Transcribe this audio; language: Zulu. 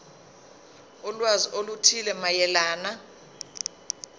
ulwazi oluthile mayelana